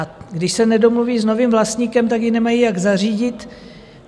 A když se nedomluví s novým vlastníkem, tak ji nemají jak zařídit.